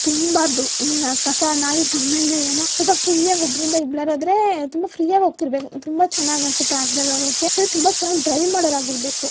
Auto ಇಂದಲ್ಲ ಚೆನ್ನಾಗಾಗಿದೆ ನೋಡಕ್ಕೆ ಜಾಸ್ತಿ ಜನ ತುಂಬಿದ್ರೆ ಚೆನ್ನಾಗಿರಲ್ಲ ತುಂಬಾ ಫ್ರೀ ಆಗ್ತಾ ಇರ್ಬೇಕು ತುಂಬಾ ಚೆನ್ನಾಗ್ ಅನ್ಸುತ್ತೆ ಆಟೋದಲ್ಲಿ ಹೋಗೋಕೆ.